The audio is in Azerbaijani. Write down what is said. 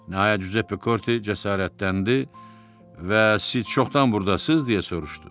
Nəhayət Cüzeppe Korte cəsarətləndi və "Siz çoxdan burdasız?" deyə soruşdu.